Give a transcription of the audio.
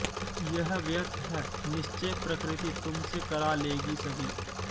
यह व्यर्थ है निश्चय प्रकृति तुमसे करा लेगी सभी